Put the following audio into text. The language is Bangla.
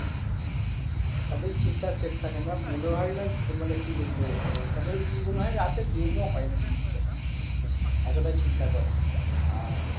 আহ তাদের চিন্তার শেষ থাকে না মনে হয় না মানে কি বলবো আহ তাদের মনে হয় রাতে ঘুমও হয় না ঠিক মতো আহ এতটাই চিন্তা করে আর